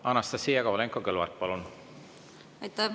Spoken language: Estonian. Anastassia Kovalenko-Kõlvart, palun!